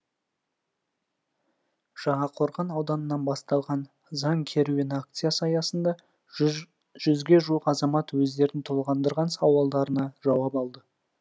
жаңақорған ауданынан басталған заң керуені акциясы аясында жүзге жуық азамат өздерін толғандырған сауалдарына жауап алды